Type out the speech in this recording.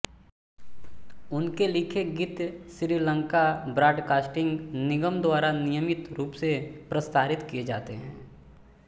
उनके लिखे गीत श्री लंका ब्राडकास्टिंग निगम द्वारा नियमित रूप से प्रसारित किये जाते हैं